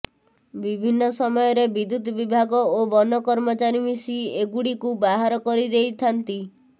ବିଭିନ୍ନ ସମୟରେ ବିଦ୍ୟୁତ୍ ବିଭାଗ ଓ ବନକର୍ମଚାରୀ ମିଶି ଏଗୁଡ଼ିକୁ ବାହାର କରିଦେଇଥାନ୍ତି